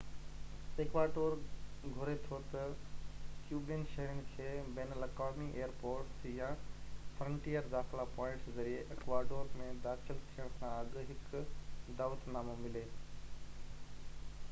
Ecuador گهري ٿو ته ڪيوبن شهرين کي بين الاقوامي ايئر پورٽس يا فرنٽيئر داخلا پوائنٽس ذريعي اڪواڊور ۾ داخل ٿيڻ کان اڳ هڪ دعوت نامو ملي